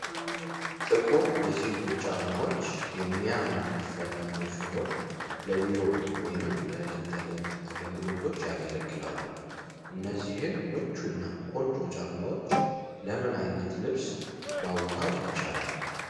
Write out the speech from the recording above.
ጥቁር የሴቶች ጫማዎች የሚያምር ንድፍ ያላቸው ሲሆን፣ ለቢሮ ወይም ለዕለት ተዕለት አገልግሎት ያገለግላሉ። እነዚህን ምቹና ቆንጆ ጫማዎች ለምን ዓይነት ልብስ ማዋሃድ ይቻላል?